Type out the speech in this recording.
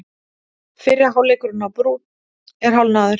Fyrri hálfleikurinn á Brúnn er hálfnaður